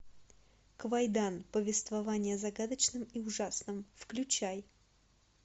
квайдан повествование о загадочном и ужасном включай